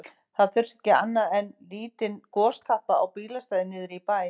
Það þurfti ekki annað en lítinn gostappa á bílastæði niðri í bæ.